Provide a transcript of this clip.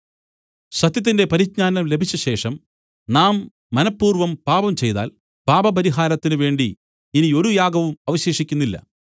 സത്യത്തിന്റെ പരിജ്ഞാനം ലഭിച്ചശേഷം നാം മനഃപൂർവ്വം പാപം ചെയ്താൽ പാപപരിഹാരത്തിന് വേണ്ടി ഇനി ഒരു യാഗവും അവശേഷിക്കുന്നില്ല